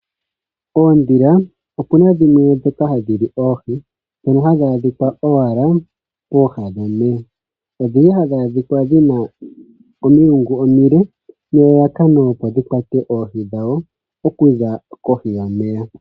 Oondhila ope na dhimwe ndhoka hadhi li oohi. Ohadhi adhika owala pooha dhomeya nodhina omilungu omile nelalakano oku kwata oohi okuza kohi yomeya.